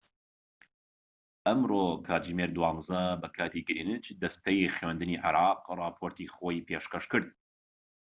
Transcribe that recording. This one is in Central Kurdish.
ئەمڕۆ کاتژمێر 12:00 ی بەکاتی گرێنچ دەستەی خوێندنی عێراق ڕاپۆرتی خۆی پێشکەشکرد